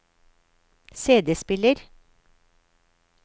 CD-spiller